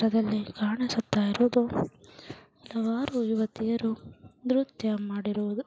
ಈ ಫೋಟೋದಲ್ಲಿ ಕಾಣಿಸುತ್ತ ಇರುವುದು ಹಲವಾರು ಯುವತಿಯರು ನೃತ್ಯ ಮಾಡಿರುವುದು .